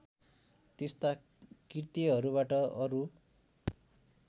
त्यस्ता कृत्यहरूबाट अरू